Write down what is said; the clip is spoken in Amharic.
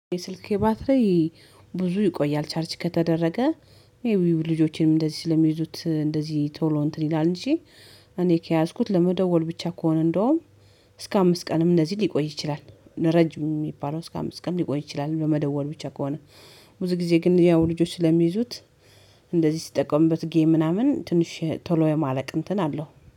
የስልክ ባትሪ ብዙ ይቆያል ቻርጅ ከተደረገ ይሄ ልጆቼንም እንደዚህ ስለሚይዙት እንደዚህ ቶሎ እንትን ይላል እንጂ እኔ ከያዝኩት ለመደወል ብቻ ከሆነ እንደውም እስከ አምስት ቀንም እንደዚህ ሊቆይ ይችላል፤ ለረጅም የሚባለው እስከ አምስት ቀን ሊቆይ ይችላል ለመደወል ብቻ ከሆነ፤ ብዙ ጊዜ ግን ያው ልጆች ስለሚይዙት እንደዚህ ሲጠቀምበት ጌም ምናምን ትንሽ ቶሎ የማለቅ እንትን አለው።